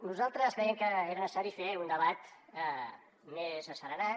nosaltres creiem que era necessari fer un debat més asserenat